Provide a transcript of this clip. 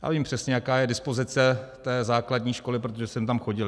Já vím přesně, jaká je dispozice té základní školy, protože jsem tam chodil.